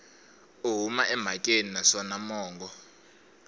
u huma emhakeni naswona mongo